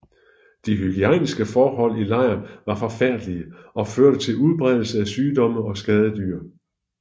De hygiejniske forhold i lejren var forfærdelige og førte til udbredelse af sygdomme og skadedyr